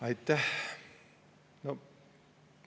Aitäh!